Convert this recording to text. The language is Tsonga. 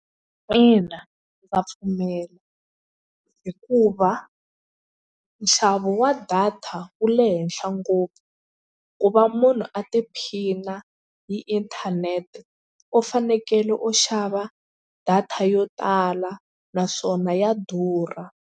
Ina ndza pfumela hikuva nxavo wa data wu le henhla ngopfu ku va munhu a tiphina hi inthanete u fanekele u xava data yo tala naswona ya durha.